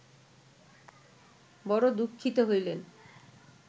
বড় দুঃখিত হইলেন